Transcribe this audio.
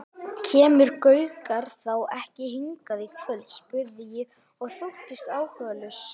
Kemur Gaukur þá ekki hingað í kvöld? spurði ég og þóttist áhugalaus.